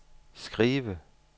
skive